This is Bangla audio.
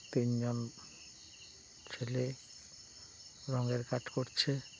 তিনজন ছেলে রঙের কাজ করছে ।